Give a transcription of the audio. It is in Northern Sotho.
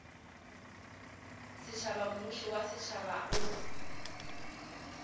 setšhaba mmušo wa setšhaba o